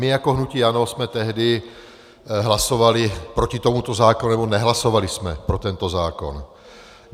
My jako hnutí ANO jsme tehdy hlasovali proti tomuto zákonu nebo nehlasovali jsme pro tento zákon.